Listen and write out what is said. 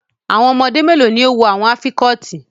How many children are wearing the earrings